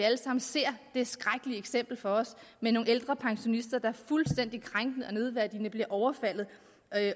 ser det skrækkelige eksempel for os med nogle pensionister der fuldstændig krænkende og nedværdigende bliver overfaldet